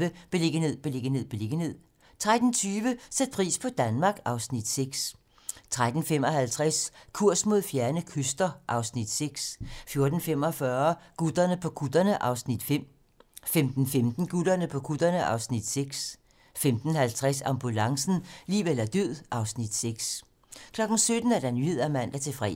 12:35: Beliggenhed, beliggenhed, beliggenhed 13:20: Sæt pris på Danmark (Afs. 6) 13:55: Kurs mod fjerne kyster (Afs. 6) 14:45: Gutterne på kutterne (Afs. 5) 15:15: Gutterne på kutterne (Afs. 6) 15:50: Ambulancen - liv eller død (Afs. 6) 17:00: Nyhederne (man-fre)